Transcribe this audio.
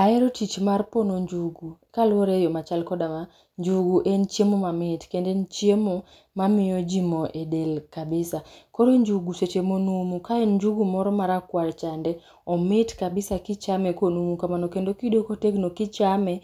Ahero tich mar pono njugu kaluore e yo machal koda ma. Njugu en chiemo mamit kendo en chiemo mamiyo jii moo e del kabisa. Koro njugu seche monumu ka en njugu moro marakwar chande, omit kabisa kichame konumu kamano kendo kiyude kotegno kichame